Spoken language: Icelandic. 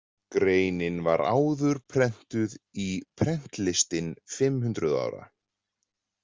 Greinin var áður prentuð í Prentlistin fimm hundruð ára.